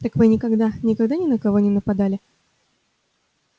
так вы никогда никогда ни на кого не нападали